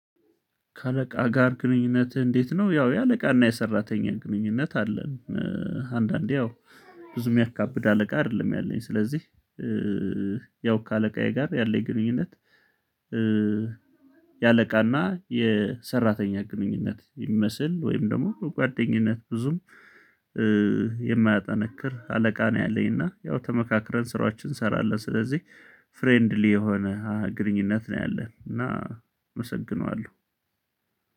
ከአለቃ ጋር ግንኙነትህ እንዴት ነው? ያው የአለቃና የሰራተኛ ግንኙነት አለን አንዳንዴ ያው ብዙ የሚያካብድ አለቃ አይደለም ያለኝ ስለዚህ ያው ከአለቃዬ ጋር ያለኝ ግንኙነት። የአለቃ እና የሰራተኛ ግንኙነት የሚመስል ወይም ደግሞ ጓደኝነት ብዙም የማያጠነክር አለቃ ነው ያለኝ። እና ያው ተመካክረን ስራችን እንሰራለን ስለዚህ ፍሬንድሊ የሆነ ግንኙነት ነው ያለን። እና እመሰግነዋለሁ።